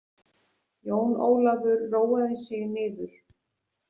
Jón Ólafur róaði sig niður.